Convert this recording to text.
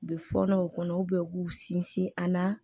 U bɛ fɔɔnɔ u kɔnɔ u bɛ u k'u sinsin a na